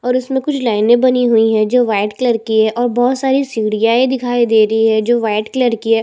इस इमेज में मुझे ग्राउंड दिखाई दे रहा है जो ग्रीन कलर का है और मिट्टी कलर का है।